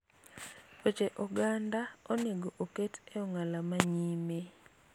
weche oganda onego oket e ong'ala manyime